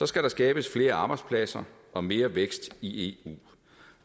skal der skabes flere arbejdspladser og mere vækst i eu